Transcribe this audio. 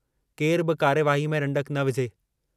केरु बि कार्यवाहीअ में रंडक न विझे।